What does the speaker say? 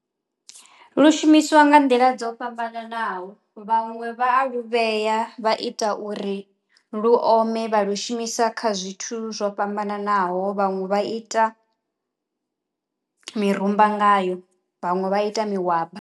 Lu shumiswa nga nḓila dzo fhambananaho vhaṅwe vha a lu vhea vha ita uri lu ome vha lu shumisa kha zwithu zwo fhambananaho, vhaṅwe vha ita mirumba ngayo, vhaṅwe vha ita mahwaba.